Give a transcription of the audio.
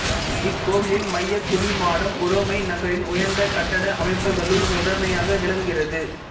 இக்கோவிலின் மையக் குவிமாடம் உரோமை நகரின் உயர்ந்த கட்டட அமைப்புகளுள் முதன்மையாக விளங்குகிறது